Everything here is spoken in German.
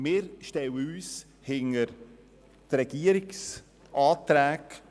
Wir stellen uns hinter die Anträge der Regierung: